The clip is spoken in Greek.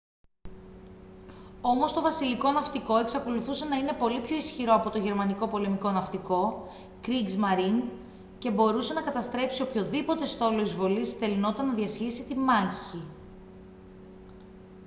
όμως το βασιλικό ναυτικό εξακολουθούσε να είναι πολύ πιο ισχυρό από το γερμανικό πολεμικό ναυτικό «kriegsmarine» και μπορούσε να καταστρέψει οποιονδήποτε στόλο εισβολής στελνόταν να διασχίσει τη μάγχη